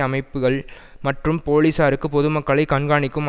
அமைப்புகள் மற்றும் போலீஸாருக்கு பொதுமக்களைக் கண்காணிக்கும்